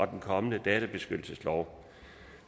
den kommende databeskyttelseslov